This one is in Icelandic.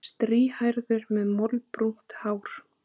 Strýhærður með moldbrúnt hár.